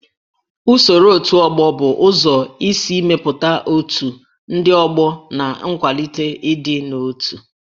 Usoro otù ọgbọ bụ ụzọ isi mepụta otù ndị ọgbọ na ịkwalite ịdị n'otu